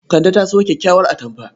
Kande ta sayo kyakkyawar atamfa.